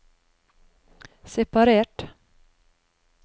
separert